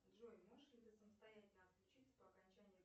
джой можешь ли ты самостоятельно отключиться по окончанию